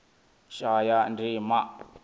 shayandima